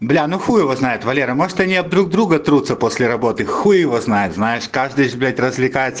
бля ну хуй его знает валера может они об друг друга трутся после работы хуй его знает знаешь каждый ж блять развлекается